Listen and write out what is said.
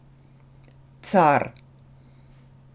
Car!